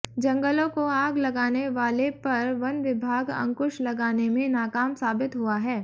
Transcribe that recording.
जंगलों को आग लगाने वाले पर वन विभाग अंकुश लगाने में नाकाम साबित हुआ है